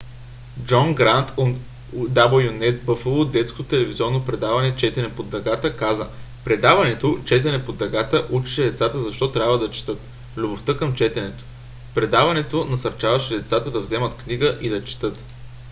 джон грант от wned buffalo детското телевизионно предаване четене под дъгата каза: предаването четене под дъгата учеше децата защо трябва да четат,... любовта към четенето – [предаването] насърчаваше децата да вземат книга и да четат.